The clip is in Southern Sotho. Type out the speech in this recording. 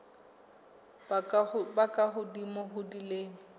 ba ka hodimo ho dilemo